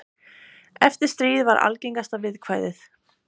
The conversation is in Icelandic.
Eftir stríð var algengasta viðkvæðið.